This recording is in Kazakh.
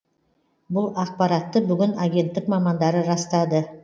бұл ақпаратты бүгін агенттік мамандары растады